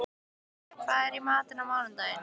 Smiður, hvað er í matinn á mánudaginn?